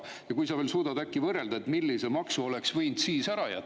Äkki sa suudad veel võrrelda, millise maksu oleks võinud siis ära jätta?